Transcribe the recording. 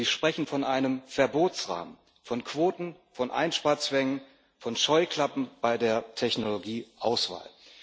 Sie sprechen von einem Verbotsrahmen, von Quoten, von Einsparzwängen, von Scheuklappen bei der Technologieauswahl.